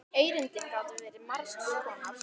Erindin gátu verið margs konar.